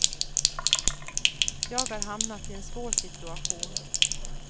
Jag har hamnat i en svår situation.